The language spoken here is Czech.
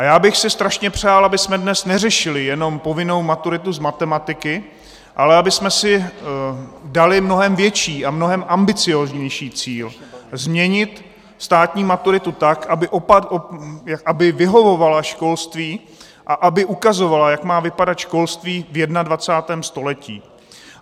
A já bych si strašně přál, abychom dnes neřešili jenom povinnou maturitu z matematiky, ale abychom si dali mnohem větší a mnohem ambicióznější cíl: změnit státní maturitu tak, aby vyhovovala školství a aby ukazovala, jak má vypadat školství v 21. století.